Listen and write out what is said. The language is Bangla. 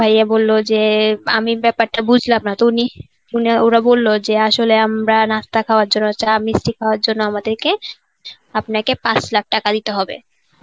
তো আমার ভাইয়্যা বলল যে আমি ব্যাপারটা বুঝলাম না তো উনি উনি~ ওরা বলল যে আসলে আমরা নাস্তা খাওয়র জন্য চা মিষ্টি খাওয়র জন্য আমাদেরকে আপনাকে পাঁচ লাখ টাকা দিতে হবে.